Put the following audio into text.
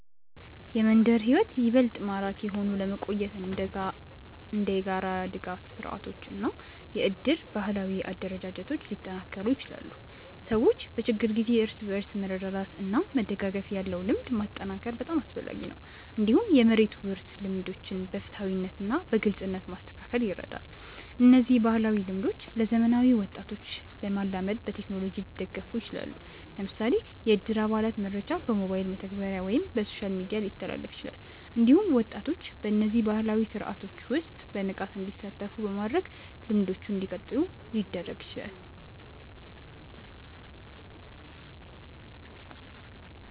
የመንደር ሕይወት ይበልጥ ማራኪ ሆኖ ለመቆየት እንደ የጋራ ድጋፍ ስርዓቶች እና የእድር ባህላዊ አደረጃጀቶች ሊጠናከሩ ይችላሉ። ሰዎች በችግር ጊዜ እርስ በርስ መርዳት እና መደጋገፍ ያለው ልምድ ማጠናከር በጣም አስፈላጊ ነው። እንዲሁም የመሬት ውርስ ልምዶችን በፍትሃዊነት እና በግልጽነት ማስተካከል ይረዳል። እነዚህ ባህላዊ ልምዶች ለዘመናዊ ወጣቶች ለመላመድ በቴክኖሎጂ ሊደገፉ ይችላሉ። ለምሳሌ የእድር አባላት መረጃ በሞባይል መተግበሪያ ወይም በሶሻል ሚዲያ ሊተላለፍ ይችላል። እንዲሁም ወጣቶች በእነዚህ ባህላዊ ስርዓቶች ውስጥ በንቃት እንዲሳተፉ በማድረግ ልምዶቹ እንዲቀጥሉ ሊደረግ ይችላል።